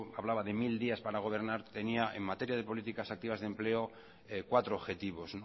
hablaba de mil días para gobernar tenía en materia de políticas activas de empleo cuatro objetivos